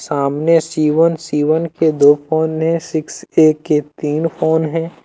सामने C. One C. One के दो फोन है। सिक्स के के तीन फोन है।